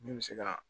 Ne bɛ se ka